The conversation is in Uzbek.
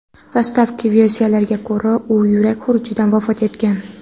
Dastlabki versiyalarga ko‘ra, u yurak xurujidan vafot etgan.